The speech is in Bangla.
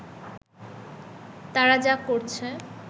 তারা যা করছে